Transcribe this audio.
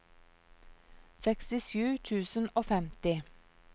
sekstisju tusen og femti